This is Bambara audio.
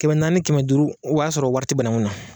Kɛmɛ naani kɛmɛ duuru o b'a sɔrɔ wari te banaŋu na